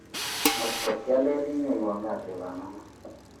Ngot kialele inyowan kaat wei bamongo